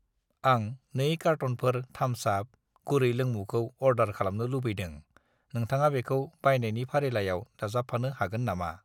आं 2 कारट'नफोर थाम्स आप गुरै लोंमुखौ अर्दार खालामनो लुबैदों, नोंथाङा बेखौ बायनायनि फारिलाइयाव दाजाबफानो हागोन नामा?